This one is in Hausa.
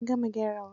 An gama gyarawa.